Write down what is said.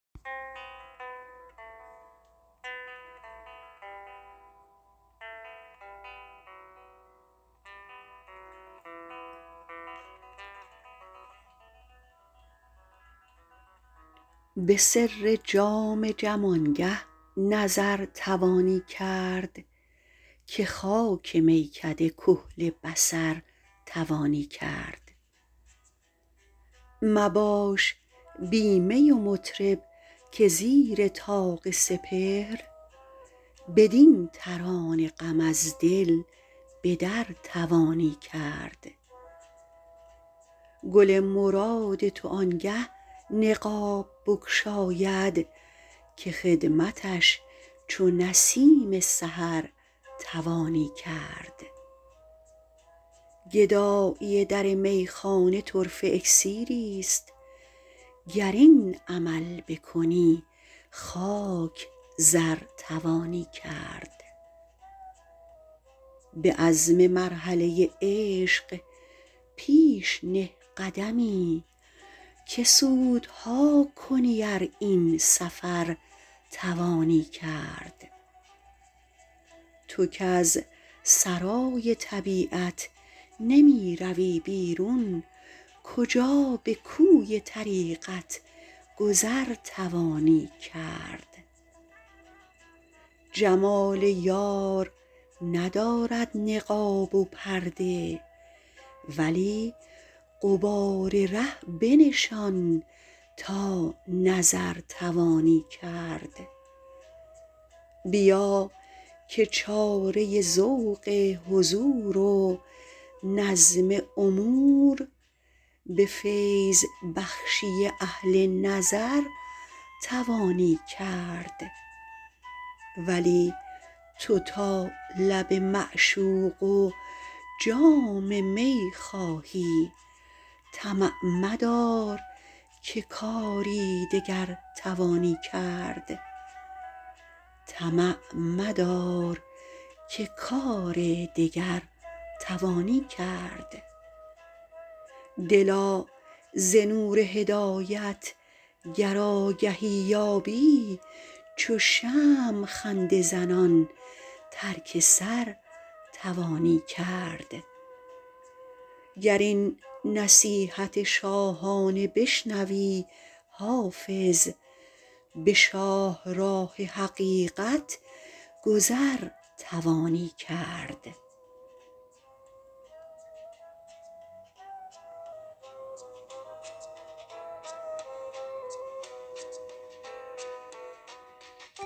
به سر جام جم آنگه نظر توانی کرد که خاک میکده کحل بصر توانی کرد مباش بی می و مطرب که زیر طاق سپهر بدین ترانه غم از دل به در توانی کرد گل مراد تو آنگه نقاب بگشاید که خدمتش چو نسیم سحر توانی کرد گدایی در میخانه طرفه اکسیریست گر این عمل بکنی خاک زر توانی کرد به عزم مرحله عشق پیش نه قدمی که سودها کنی ار این سفر توانی کرد تو کز سرای طبیعت نمی روی بیرون کجا به کوی طریقت گذر توانی کرد جمال یار ندارد نقاب و پرده ولی غبار ره بنشان تا نظر توانی کرد بیا که چاره ذوق حضور و نظم امور به فیض بخشی اهل نظر توانی کرد ولی تو تا لب معشوق و جام می خواهی طمع مدار که کار دگر توانی کرد دلا ز نور هدایت گر آگهی یابی چو شمع خنده زنان ترک سر توانی کرد گر این نصیحت شاهانه بشنوی حافظ به شاهراه حقیقت گذر توانی کرد